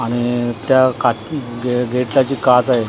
आणि त्या का ग गेटला जी काच आहे .